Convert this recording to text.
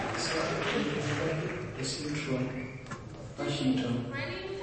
Kaji sa eikoni tenebaki esindirom ePartington?